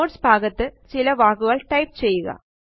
notes ഭാഗത്ത് ചില വാക്കുകൾ ടൈപ്പ് ചെയ്യുക